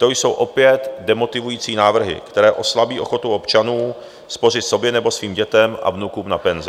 To jsou opět demotivující návrhy, které oslabí ochotu občanů spořit sobě nebo svým dětem a vnukům na penzi.